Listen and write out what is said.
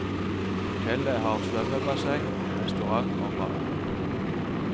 Hotellet har svømmebasseng, restaurant og bar.